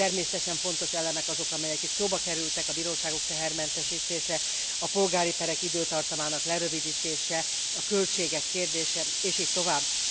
Természetesen fontos elemek azok, amelyek itt szóba kerültek a bíróságok tehermentesítése, a polgári perek időtartamának lerövidítése, a költségek kérdése és így tovább.